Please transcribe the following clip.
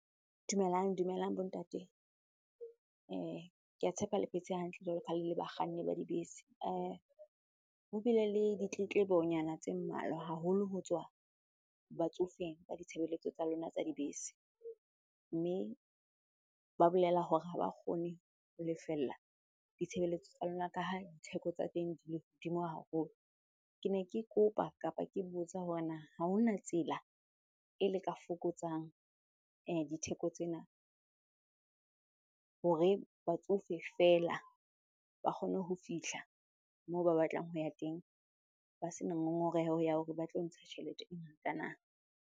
Dumelang dumelang bo ntate. Ke a tshepa le phetse hantle jwalo ka ha le le bakganni ba dibese. Ho bile le ditletlebonyana tse mmalwa haholo ho tswa batsofeng ka ditshebeletso tsa lona tsa dibese. Mme ba bolela hore ha ba kgone ho lefella ditshebeletso tsa lona ka ha ditheko tsa teng di le hodimo haholo. Ke ne ke kopa kapa ke botsa hore na ha hona tsela e le ka fokotsang ditheko tsena hore batsofe feela ba kgone ho fihla moo ba batlang ho ya teng ba sena ngongoreho ya hore ba tlo ntsha tjhelete e ngata na?